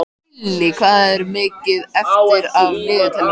Krilli, hvað er mikið eftir af niðurteljaranum?